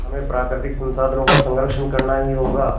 हमें प्राकृतिक संसाधनों का संरक्षण करना ही होगा